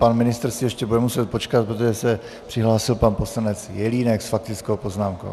Pan ministr si ještě bude muset počkat, protože se přihlásil pan poslanec Jelínek s faktickou poznámkou.